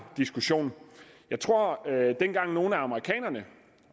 diskussion jeg tror at dengang nogle af amerikanerne